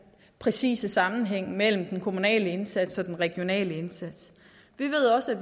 præcis sammenhæng mellem den kommunale indsats og den regionale indsats vi ved også at